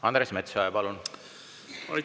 Andres Metsoja, palun!